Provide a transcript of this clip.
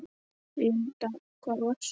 Linda: Hvar varstu?